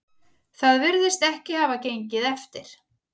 Það virðist ekki hafa gengið eftir